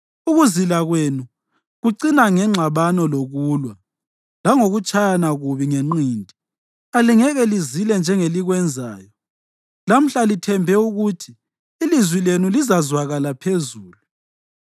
Ukuzila kwenu kucina ngengxabano lokulwa, langokutshayana kubi ngenqindi. Alingeke lizile njengelikwenzayo lamhla lithembe ukuthi ilizwi lenu lizazwakala phezulu.